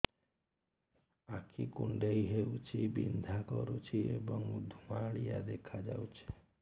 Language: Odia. ଆଖି କୁଂଡେଇ ହେଉଛି ବିଂଧା କରୁଛି ଏବଂ ଧୁଁଆଳିଆ ଦେଖାଯାଉଛି